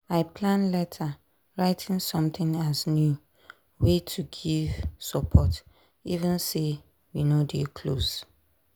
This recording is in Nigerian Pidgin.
i plan letter writing something as new way to give support even say we no dey close.